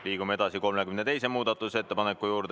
Liigume edasi 32. muudatusettepaneku juurde.